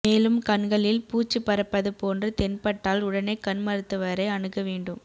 மேலும் கண்களில் பூச்சி பறப்பது போன்று தென்பட்டால் உடனே கண் மருத்துவரை அணுக வேண்டும்